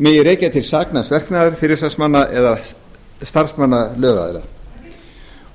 megi rekja til saknæms verknaðar fyrirsvarsmanns eða starfsmanns lögaðilans